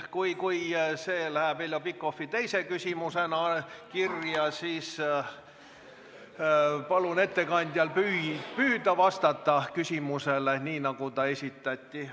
Kui see läheb Heljo Pikhofi teise küsimusena kirja, siis palun ettekandjal püüda vastata küsimusele, nii nagu see esitati.